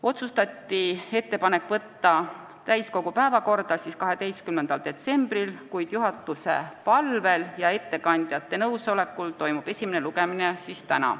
Otsustati: võtta eelnõu täiskogu 12. detsembri istungi päevakorda, kuid juhatuse palvel ja ettekandjate nõusolekul toimub esimene lugemine täna.